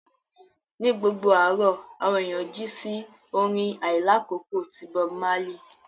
Ní gbogbo àárọ̀, àwọn ènìyàn jí sí orin àìlákókò ti Bob Marley